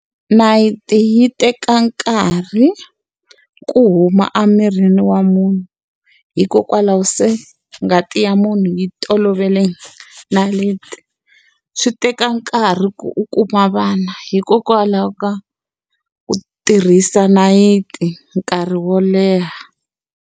Nayiti yi teka nkarhi ku huma emirini wa munhu. Hikokwalaho se ngati ya munhu yi tolovele nayiti. Swi teka nkarhi ku u kuma vana hikokwalaho ka ku tirhisa nayiti nkarhi wo leha.